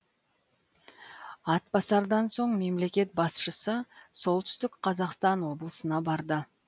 атбасардан соң мемлекет басшысы солтүстік қазақстан облысына барды